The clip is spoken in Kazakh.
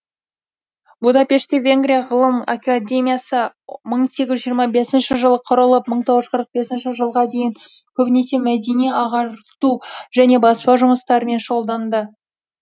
будапештте венгрия ғылым академиясы мың сегіз жүз жиырма бесінші жылы құрылып мың тоғыз жүз қырық бесінші жылға дейін көбінесе мәдени ағарту және баспа жұмыстармен шұғылданды